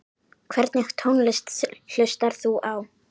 Hvernig tónlist hlustar þú á?